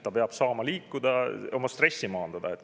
Ta peab saama liikuda, oma stressi maandada.